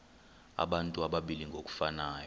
abantu abalili ngokufanayo